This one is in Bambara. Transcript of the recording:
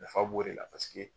Nafa b'o de la paseke.